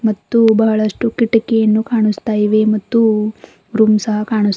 ಮತ್ತು ಬಹಳಷ್ಟು ಕಿಟಕಿಯನ್ನು ಕಾಣಿಸ್ತಾಇವೆ ಮತ್ತು ರೂಮ್ ಸಹ ಕಾಣಿಸ್ತಾಇವೆ.